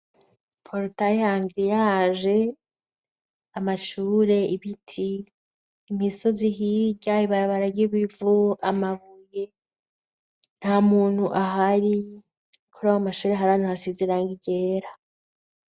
porotaye hanglia aje amashure ibiti imisozi hirya ibarabara ry'ibivu amabuye nta muntu ahari ikora w'amashuri hari hantu hasize irangi ryera